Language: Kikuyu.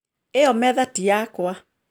Ĩyo metha ti yakwa